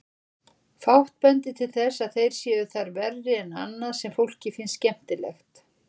Fátt bendir til þess að þeir séu þar verri en annað sem fólki finnst skemmtilegt.